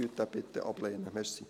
Lehnen Sie diesen bitte ab.